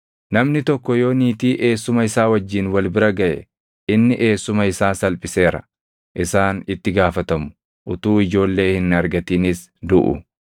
“ ‘Namni tokko yoo niitii eessuma isaa wajjin wal bira gaʼe inni eessuma isaa salphiseera. Isaan itti gaafatamu; utuu ijoollee hin argatinis duʼu.